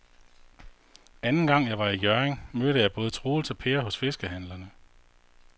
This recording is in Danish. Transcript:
Anden gang jeg var i Hjørring, mødte jeg både Troels og Per hos fiskehandlerne.